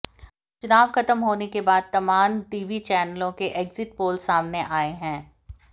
चुनाव ख़त्म होने के बाद तमान टीवी चैनलों के एग्जिट पोल सामने आए है